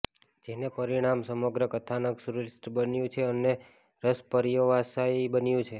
જેને પરિણામે સમગ્ર કથાનક સુશ્લિષ્ઠ બન્યું છે અને રસપર્યવસાયી બન્યું છે